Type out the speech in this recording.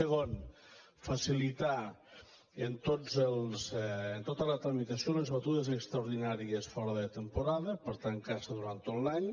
segon facilitar tota la tramitació a les batudes extraordinàries fora de temporada per tant caça durant tot l’any